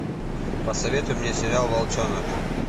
посоветуй мне сериал волчонок